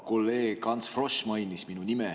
Kolleeg Ants Frosch mainis minu nime.